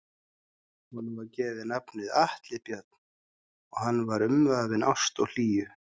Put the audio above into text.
Honum var gefið nafnið Atli Björn og hann var umvafinn ást og hlýju.